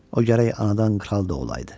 O gərək anadan kral da olaydı.